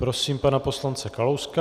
Prosím pana poslance Kalouska.